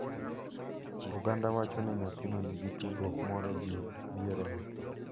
Oganda wacho ni nyathino nigi tudruok moro gi bierono,